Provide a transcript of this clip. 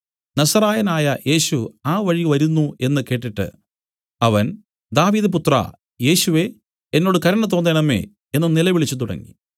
നസറായനായ യേശു ആ വഴി വരുന്നു എന്നു കേട്ടിട്ട് അവൻ ദാവീദുപുത്രാ യേശുവേ എന്നോട് കരുണ തോന്നേണമേ എന്നു നിലവിളിച്ചു തുടങ്ങി